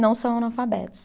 Não são analfabetos.